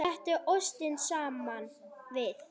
Settu ostinn saman við.